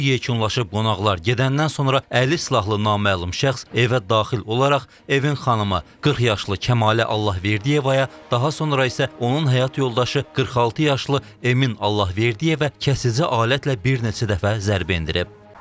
Toy yekunlaşıb, qonaqlar gedəndən sonra əli silahlı naməlum şəxs evə daxil olaraq Emin xanımı, 40 yaşlı Kəmalə Allahverdiyevaya, daha sonra isə onun həyat yoldaşı 46 yaşlı Emin Allahverdiyevə kəsici alətlə bir neçə dəfə zərbə endirib.